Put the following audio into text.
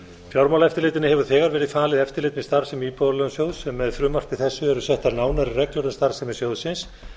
fjármálaeftirlitinu hefur þegar verið falið eftirlit með starfsemi íbúðalánasjóðs með frumvarpi þessu eru settar nánari reglur um starfsemi sjóðsins